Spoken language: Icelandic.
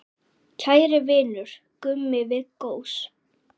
Kæri vinur, Gummi Viggós.